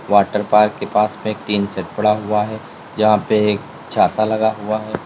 Water park के पास में एक टीन सेट पड़ा हुआ है यहां पे एक छाता लगा हुआ है।